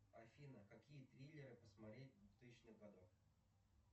афина какие триллеры посмотреть двухтысячных годов